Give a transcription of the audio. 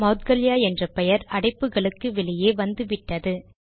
மௌத்கல்யா என்ற பெயர் அடைப்புகளுக்கு வெளியே வந்துவிட்டது